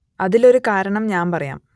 അതിൽ ഒരു കാരണം ഞാൻ പറയാം